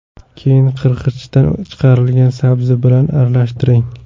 Keyin qirg‘ichdan chiqarilgan sabzi bilan aralashtiring.